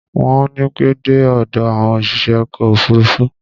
Wọn ò ní pẹ́ dé ọ̀dọ̀ àwọn òṣìṣẹ́ ọkọ̀ òfuruufú.